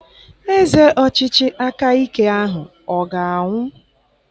Eze ọchịchị aka ike ahụ ọ ga-anwụ?